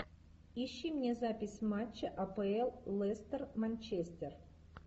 ищи мне запись матча апл лестер манчестер